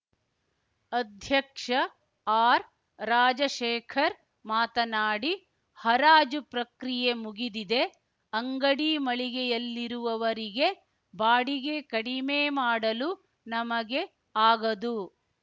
ಅಧ್ಯಕ್ಷ ಆರ್‌ರಾಜಶೇಖರ್‌ ಮಾತನಾಡಿ ಹರಾಜು ಪ್ರಕ್ರಿಯೆ ಮುಗಿದಿದೆ ಅಂಗಡಿ ಮಳಿಗೆಯಲ್ಲಿರುವವರಿಗೆ ಬಾಡಿಗೆ ಕಡಿಮೆ ಮಾಡಲು ನಮಗೆ ಆಗದು